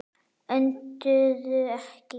Önduðu ekki.